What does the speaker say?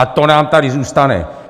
A to nám tady zůstane!